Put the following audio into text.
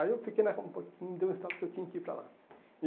Aí eu fiquei na rua um pouquinho, me deu um estado que eu tinha que ir para lá.